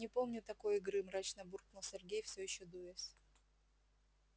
не помню такой игры мрачно буркнул сергей все ещё дуясь